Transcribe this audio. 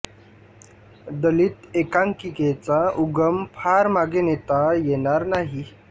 दलित एकांकिकेचा उगम फार मागे नेता येणार नाही